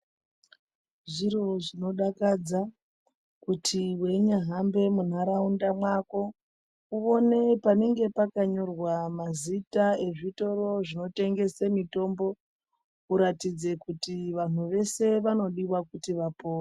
Zviro zvinodakadza kuti weinyahambe mundaraunda mwako kuone panenge pakanyorwa mazita ezvitoro zvinotengese mitombo kuratidze kuti vanhu vese vanodiwa kuti vaone.